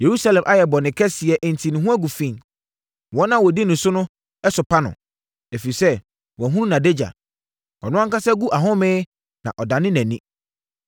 Yerusalem ayɛ bɔne kɛseɛ enti ne ho agu fi. Wɔn a wɔdi no ni no sopa no, ɛfiri sɛ wɔahunu nʼadagya; ɔno ankasa gu ahome na ɔdane nʼani.